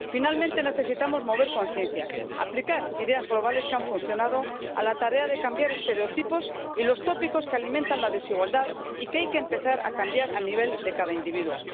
Finalmente, necesitamos mover conciencias, aplicar ideas globales que han funcionado a la tarea de cambiar estereotipos y los tópicos que alimentan la desigualdad y que hay que empezar a cambiar a nivel de cada individuo.